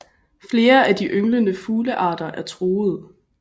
Flere af de ynglende fuglearter er truede